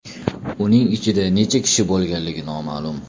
Uning ichida necha kishi bo‘lgani noma’lum.